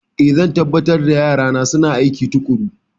Ee, zan tabbatar da yarana suna aiki tuƙuru.